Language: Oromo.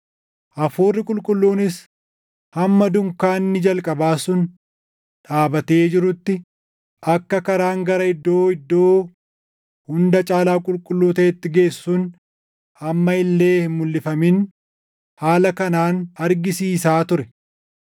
Hafuurri Qulqulluunis hamma dunkaanni jalqabaa sun dhaabatee jirutti akka karaan gara Iddoo Iddoo Hunda Caalaa Qulqulluu taʼeetti geessu sun amma illee hin mulʼifamin haala kanaan argisiisaa ture.